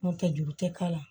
N'o tɛ juru tɛ k'a la